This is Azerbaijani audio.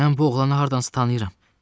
Mən bu oğlanı hardansa tanıyıram.